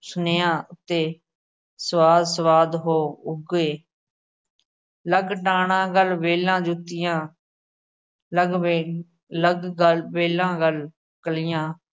ਸੁਣਿਆ ਅਤੇ ਸਵਾਦ-ਸਵਾਦ ਹੋ ਉਗੇ। ਲੱਗ ਡਾਣਾ ਗਲ ਵੇਲਾ ਜੁੱਤੀਆਂ ਲਗਵੇਂ ਲੱਗ ਗਲ ਵੇਲਾ ਗਲ ਕਲੀਆਂ